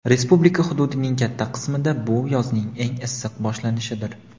Respublika hududining katta qismida bu yozning eng issiq boshlanishidir.